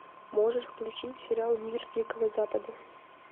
можешь включить сериал мир дикого запада